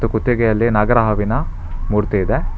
ಕುತ್ತಿಗೆಯಲ್ಲಿ ನಾಗರ ಹಾವಿನ ಮೂರ್ತಿ ಇದೆ.